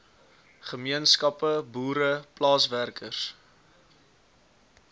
gemeenskappe boere plaaswerkers